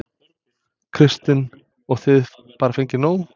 Kristinn: Og þið bara fengið nóg?